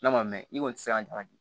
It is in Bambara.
N'a ma mɛ i kɔni tɛ se ka ɲagali